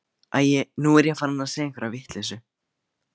Æi, nú er ég farin að segja einhverja vitleysu.